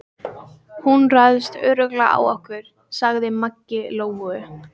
Hún ræðst örugglega á okkur, sagði Maggi Lóu.